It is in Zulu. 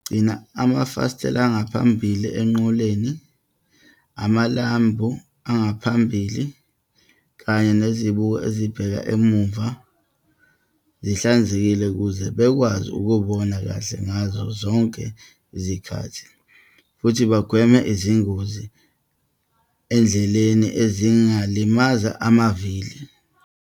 Gcina amafasitela angaphambili enqoleni, amalambu angaphambili kanye nezibuko ezibheka emuva zihlanzekile ukuze bakwazi ukubona kahle ngazo zonke izikhathi, futhi bagweme izingozi endleleni ezingalimaza amavili.